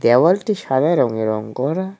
দেওয়ালটি সাদা রঙে রঙ করা।